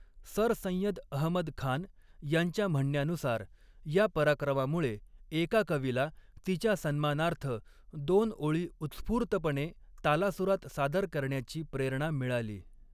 Sir Syed Ahmad Khan यांच्या म्हणण्यानुसार, या पराक्रमामुळे एका कवीला तिच्या सन्मानार्थ दोन ओळी उत्स्फूर्तपणे तालासुरात सादर करण्याची प्रेरणा मिळाली.